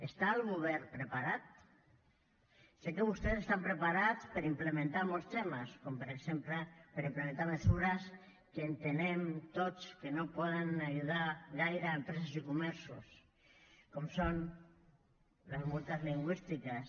està el govern preparat sé que vostès estan preparats per implementar molts temes com per exemple per implementar mesures que entenem tots que no poden ajudar gaire empreses i comerços com són les multes lingüístiques